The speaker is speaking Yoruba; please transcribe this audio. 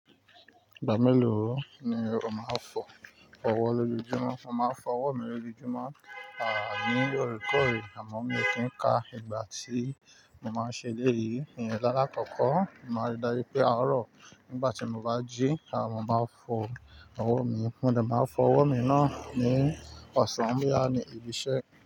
Ìgbà mélòó ni o máa ń fọ ọwọ́ lójúmọ́? Mo máa ń fọ ọwọ́ mi lójojúmọ́, à ní ọ̀rẹ́kọ̀rẹ́ àmọ́ mi o kí n ka ìgbà tí mo máa n ṣe éle yìí. Ìyẹn lálakọ́kọ́, mo máa n rí dájú pé àárọ̀ nígbà tí mo bá jí à mo maa n fọ ọwọ́ mi. Mo dè máa n fọ ọwọ́ mi náà ní ọ̀sán boya ní ibi iṣẹ́.